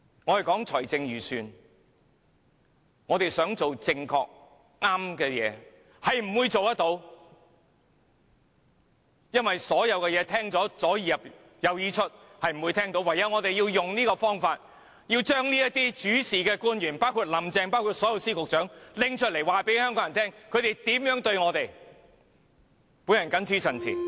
我們談財政預算案，我們想做正確的事情，是不會做到的，因為官員聽後也充耳不聞，我們唯有採取這種方法，把主事的官員，包括林鄭月娥和所有司局長拿出來告訴香港人，他們如何對待我們。